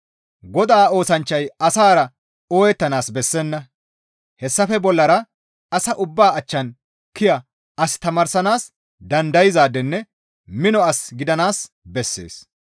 Godaa oosanchchay asara ooyettanaas bessenna; hessafe bollara asa ubbaa achchan kiya, as tamaarsanaas dandayzaadenne mino as gidanaas bessees.